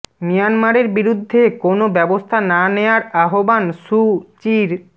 মিয়ানমারের বিরুদ্ধে কোনো ব্যবস্থা না নেয়ার আহ্বান সু চির